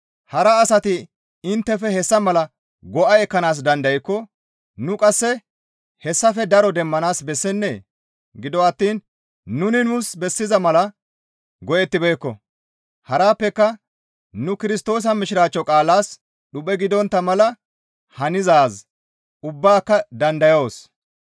Hara asati inttefe hessa mala go7a ekkanaas dandaykko nu qasse hessafe daro demmanaas bessennee? Gido attiin nuni nuus bessiza mala go7ettibeekko; harappeka nu Kirstoosa Mishiraachcho qaalaas dhuphe gidontta mala hanizaaz ubbaaka dandayoos.